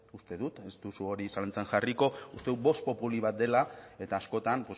uste dut ez duzu hori zalantzan jarriko uste dut vox populi bat dela eta askotan